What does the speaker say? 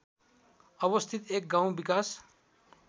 अवस्थित एक गाउँ विकास